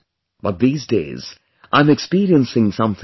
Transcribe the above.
But these days I'm experiencing something new